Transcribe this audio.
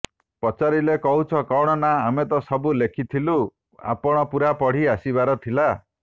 ପଚାରିଲେ କହୁଛ କଣ ନା ଆମେ ତ ସବୁ ଲେଖିଥିଲୁ ଆପଣ ପୂରା ପଢି ଆସିବାର ଥିଲା